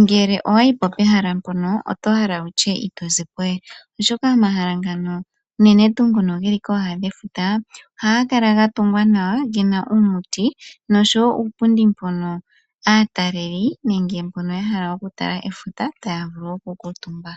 ngele owayi po pehala mpono ito hala wutye ito zi po we, oshoka omahala ngano uunene tu ngono geli kooha dhefuta ohaga kala gatungwa nawa gena uumuti nosho wo uupundi mbono aataleli nenge mbono yahala okutala efuta taya vulu okukuutumba.